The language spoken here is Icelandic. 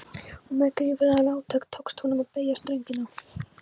og með gífurlegu átaki tókst honum að beygja stöngina.